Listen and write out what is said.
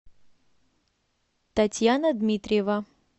татьяна дмитриева